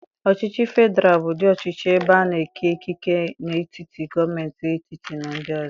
Ọchịchị federal bụ ụdị ọchịchị ebe a na-eke ikike n'etiti gọọmentị etiti na ndị ọzọ.